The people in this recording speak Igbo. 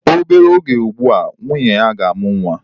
Obere oge ugbu a, nwunye ya ga-amụ nwa.